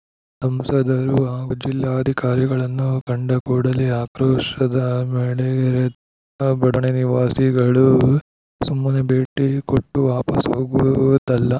ಸಂಸದರು ಹಾಗೂ ಜಿಲ್ಲಾಧಿಕಾರಿಗಳನ್ನು ಕಂಡ ಕೂಡಲೇ ಆಕ್ರೋಶದ ಮಳೆಗರೆದ ಬಡಾವಣೆ ನಿವಾಸಿಗಳು ಸುಮ್ಮನೆ ಭೇಟಿ ಕೊಟ್ಟು ವಾಪಾಸ್‌ ಹೋಗುವುದಲ್ಲ